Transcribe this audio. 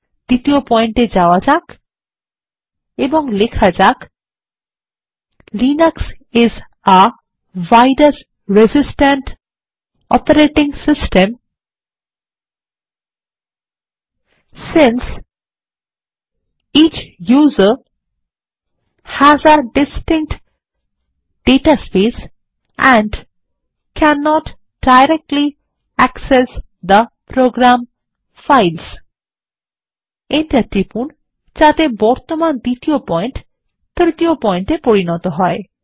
দ্বিতীয় পয়েন্ট এ যাওয়া যাক এবং লেখা যাক Linux is a virus resistant operating system since each user has a distinct data space and cannot directly access the program files enter টিপুন যাতে বর্তমান দ্বিতীয় পয়েন্ট তৃতীয় পয়েন্ট এ পরিণত হয়